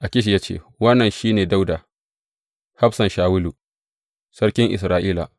Akish ya ce, Wannan shi ne Dawuda hafsan Shawulu, sarkin Isra’ila.